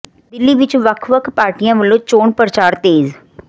ਦਿੱਲੀ ਵਿੱਚ ਵੱਖ ਵੱਖ ਪਾਰਟੀਆਂ ਵੱਲੋਂ ਚੋਣ ਪ੍ਰਚਾਰ ਤੇਜ਼